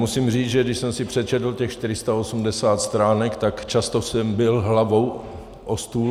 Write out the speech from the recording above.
Musím říct, že když jsem si přečetl těch 480 stránek, tak často jsem bil hlavou o stůl.